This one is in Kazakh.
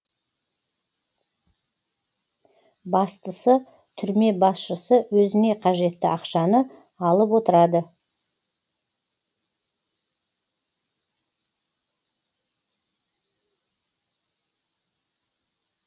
бастысы түрме басшысы өзіне қажетті ақшаны алып отырады